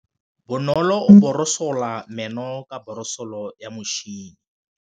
Bonolô o borosola meno ka borosolo ya motšhine.